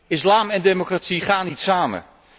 Islam en democratie gaan niet samen.